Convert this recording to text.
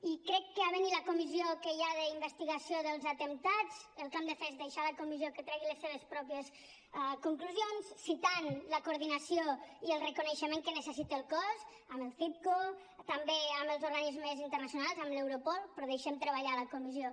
i crec que havent hi la comissió que hi ha d’investigació dels atemptats el que hem de fer és deixar a la comissió que tregui les seves pròpies conclusions citant la coordinació i el reconeixement que necessita el cos amb el citco també amb els organismes internacionals amb l’europol però deixem treballar la comissió